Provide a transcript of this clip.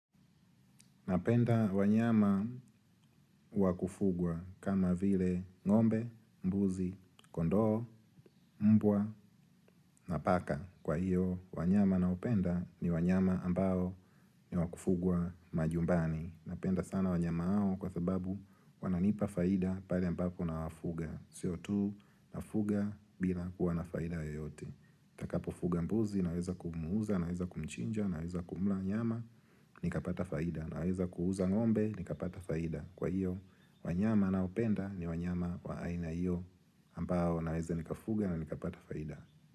Napenda wanyama wakufugwa kama vile ng'ombe, mbuzi, kondoo, mbwa na paka. Kwa hiyo, wanyama ninaopenda ni wanyama ambao ni wakufugwa majumbani. Napenda sana wanyama hao kwa sababu wananipa faida pale ambapo nawafuga. Sio tu, nafuga bila kuwa na faida yoyote. Nitakapo fuga mbuzi, naweza kumuuza, naweza kumchinja, naweza kumla nyama, nikapata faida. Naweza kuuza ng'ombe, nikapata faida. Kwa hiyo, wanyama naopenda ni wanyama wa aina hiyo ambao naweza nikafuga na nikapata faida.